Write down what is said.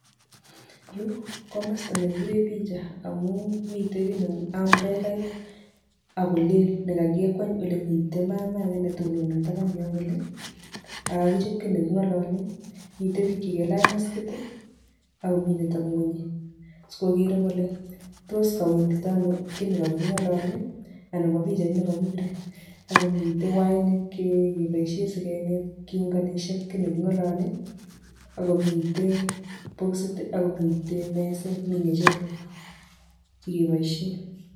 Yuu ko komosta nekibiren pija amun mitee kiit neu amburelait ak ko lel nekakikweny olemiten mamaa ake nekatonon en yon kolee ak kakijob kiit nekingololen miten biik chekalaj maskit ii ak ko mii netebe ngwony sikokeree kole tos kowendito ano kii nekakingololen ana ko pichait nekokibire ak komiten wainik chekeboishen sikobit keunganishan kiit nekingololen ak ko miten boxit ak mezet ak ngecherok chekeboishen